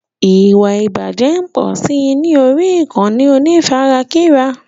Ìwà ìbàjẹ́ ń pọ̀si ní orí ìkànnì onífarakínra.